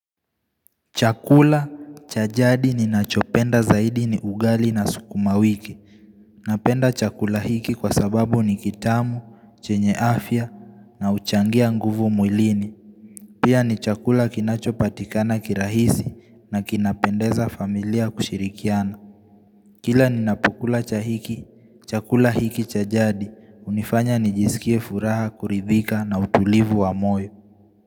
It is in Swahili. Chakula, cha jadi ninachopenda zaidi ni ugali na sukuma wiki. Napenda chakula hiki kwa sababu ni kitamu, chenye afya na huchangia nguvu mwilini. Pia ni chakula kinachopatikana kirahisi na kinapendeza familia kushirikiana. Kila ninapokula chahiki, chakula hiki cha jadi. Hunifanya nijisikie furaha kuridhika na utulivu wa moyo.